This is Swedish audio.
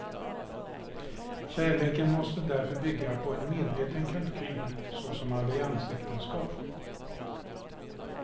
Kärleken måste därför bygga på en medveten kalkyl såsom alliansäktenskap.